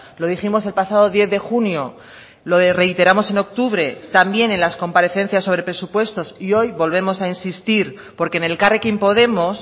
lo dijimos el pasado diez de junio lo reiteramos en octubre también en las comparecencias sobre presupuestos y hoy volvemos a insistir porque en elkarrekin podemos